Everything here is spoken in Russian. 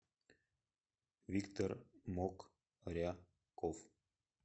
виктор мокряков